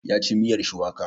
Ya ci miyar shuwaka.